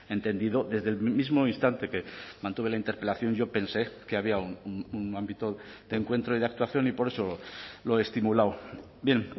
he entendido desde el mismo instante que mantuve la interpelación yo pensé que había un ámbito de encuentro y de actuación y por eso lo he estimulado bien